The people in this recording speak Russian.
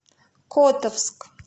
котовск